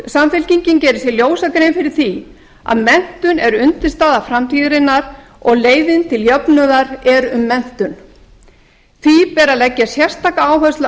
samfylkingin gerir sér ljósa grein fyrir því að menntun er undirstaða framtíðarinnar og leiðin til jafnaðar er um menntun því ber að leggja sérstaka áherslu